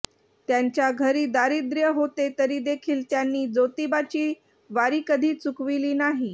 त्यांच्या घरी दारिद्रय़ होते तरी देखील त्यांनी जोतिबाची वारी कधी चुकविली नाही